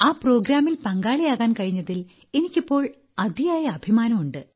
ആ പരിപാടിയിൽ പങ്കാളിയാകാൻ കഴിഞ്ഞതിൽ എനിക്കിപ്പോൾ അതിയായ അഭിമാനം ഉണ്ട്